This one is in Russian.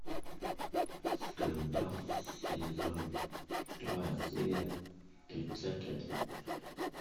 скандал сезон два серия тридцать один